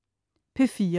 P4: